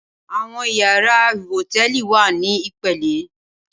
Awòn iyàrá hótèlí wá ni ipélé